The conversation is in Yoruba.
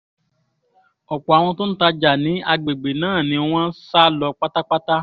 ọ̀pọ̀ àwọn tó ń tajà ní àgbègbè náà ni wọ́n sá lọ pátápátá